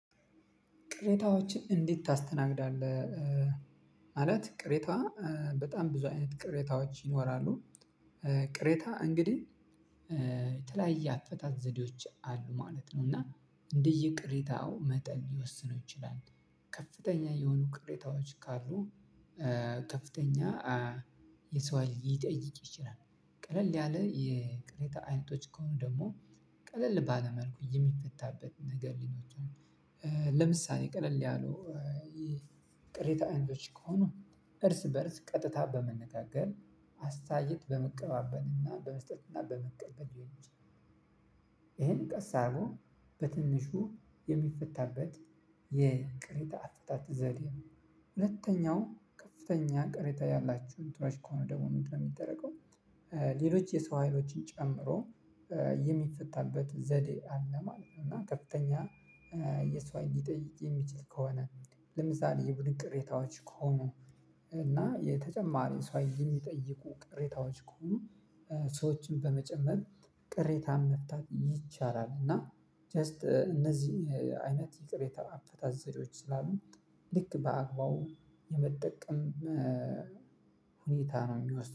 ቅሬታዎችን እንዴት ታስተናግዳለህ? ማለት ቅሬታ በጣም ብዙ አይነት ቅሬታዎች ይኖራሉ። ቅሬታ እንግዲህ የተለያየ አፈታት ዘዴዎች አሉ ማለት ነው። እና እንደየ ቅሬታው መጠን ሊወስነው ይችላል። ከፍተኛ የሆኑ ቅሬታዎች ካሉ ከፍተኛ የሰው ሀይል ሊጠይቅ ይችላል። ቀለል ያለ የቅሬታ አይነቶች ከሆኑ ደግሞ ቀለል ባለ መልኩ የሚፈታበት ነገር ሊኖር ይችላል። ለምሳሌ ቀለል ያሉ ቅሬታ አይነቶች ከሆኑ እርስ በእርስ ቀጥታ በመነጋገር አስተያየት በመቀባበልና በመስጠትና በመቀበል ሊሆን ይችላል። ይህን ቀስ አድርጎ በትንሹ የሚፈታበት የቅሬታ አፈታት ዘዴ ነው። ሁለተኛው ከፍተኛ ቅሬታ ያላቸው እንትኖች ከሆነ ደግሞ ምንድን ነው የሚደረገው? ሌሎች የሰው ሀይሎችን ጨምሮ የሚፈታበት ዘዴ አለ ማለት ነው። እና ከፍተኛ የሰው ሀይል ሊጠይቅ የሚችል ከሆነ ለምሳሌ የቡድን ቅሬታዎች ከሆኑ እና የተጨማሪ ሰው ሀይል የሚጠይቁ ቅሬታዎች ከሆኑ ሰዎችን በመጨመር ቅሬታን መፍታት ይቻላል። እና ጀስት እነዚህ አይነት የቅሬታ አፈታት ዘዴዎች ስላሉ ልክ በአግባቡ የመጠቀም ሁኔታ ነው የሚወስነው